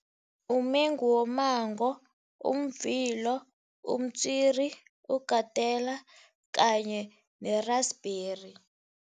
Umengu wommango, umvilo, umtswiri, ugatela kanye ne-rasberry.